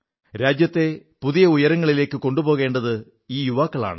രാജ്യത്തെ പുതിയ ഉയരങ്ങളിലേക്ക് കൊണ്ടുപോകേണ്ടത് ഈ യുവാക്കളാണ്